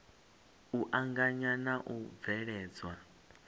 u anganya na u bveledzwa